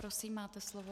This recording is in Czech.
Prosím, máte slovo.